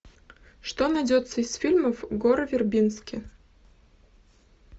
что найдется из фильмов гора вербински